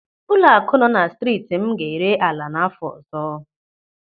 Ụlọaku nọ na striiti m ga-ere ala n'áfọ ọzọ.